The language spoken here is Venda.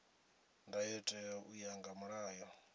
ndayotewa u ya nga mulayo